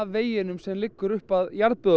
veginum sem liggur upp að